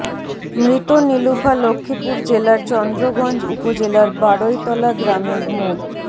মৃত নিলুফা লক্ষিপুর জেলার চন্দ্রগঞ্জ উপজেলার বাড়ইতলা গ্রামের মো